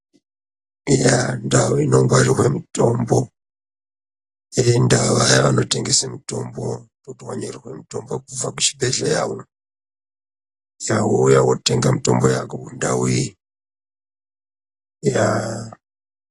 Yaaah! ndau inogwarirwa mutombo ngevaya vanotengesa mutombo, kuti wanyorerwa mutombo kubva kuchibhehleya yaah...,saka wouya wotenga mitombo yako mundau iyi, yaah...